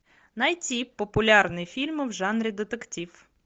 найти популярные фильмы в жанре детектив